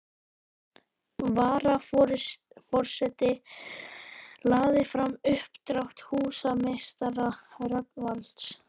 Varaforseti lagði fram uppdrátt húsameistara Rögnvalds